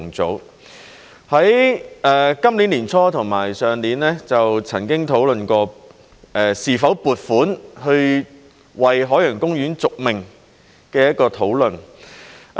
在今年年初和去年就曾經討論過是否撥款為海洋公園續命。